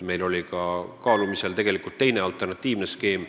Meil oli kaalumisel tegelikult ka teine, alternatiivne skeem.